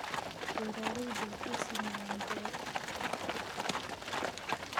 Beeraleydu waxay sameeyaan beero isku dhafan.